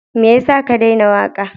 Me ya sa ka daina waƙa?